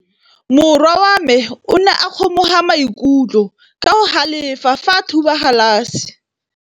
Morwa wa me o ne a kgomoga maikutlo ka go galefa fa a thuba galase.